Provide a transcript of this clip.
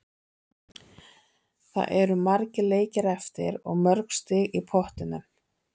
Það eru margir leikir eftir og mörg stig í pottinum.